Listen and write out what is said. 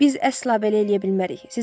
Biz əsla belə eləyə bilmərik.